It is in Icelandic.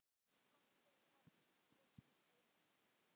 Takk fyrir allt, elsku Steini.